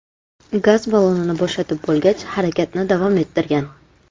Gaz ballonini bo‘shatib bo‘lgach, harakatni davom ettirgan.